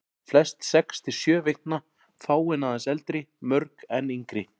Flest sex til sjö vikna, fáein aðeins eldri, mörg enn yngri.